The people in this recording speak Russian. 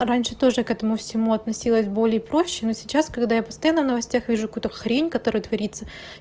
раньше тоже к этому всему относилась более проще но сейчас когда я постоянно в новостях вижу куда хрень которая творится